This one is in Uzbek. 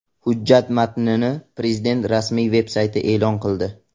Hujjat matnini Prezident rasmiy veb-sayti e’lon qildi .